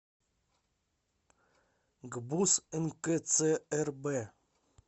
гбуз нкцрб